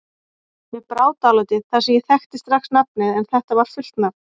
Mér brá dálítið þar sem ég þekkti strax nafnið en þetta var fullt nafn